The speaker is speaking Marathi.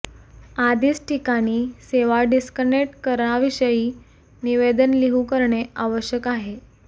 आधीच ठिकाणी सेवा डिस्कनेक्ट करा विषयी निवेदन लिहू करणे आवश्यक आहे